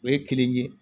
O ye kelen ye